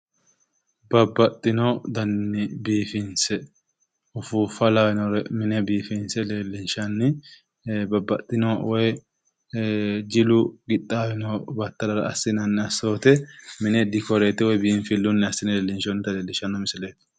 Babbaxxino daninni biifinse ufuuffa lawinore mine mine biifinse leellinshanni. Babbaxxino woyi jilu qixxaawino battalara assinanni assoote mine dikoreete woyi biinfillunni assine leellinshoonnita leellishshanno misileeti.